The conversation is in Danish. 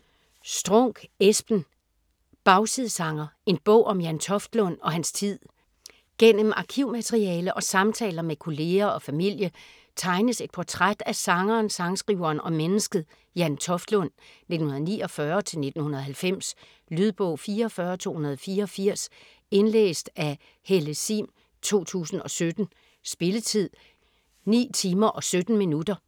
Strunk, Espen: Bagsidesanger: en bog om Jan Toftlund og hans tid Gennem arkivmateriale og samtaler med kolleger og familie tegnes et portræt af sangeren, sangskriveren og mennesket Jan Toftlund (1949-1990). Lydbog 44284 Indlæst af Helle Sihm, 2017. Spilletid: 9 timer, 17 minutter.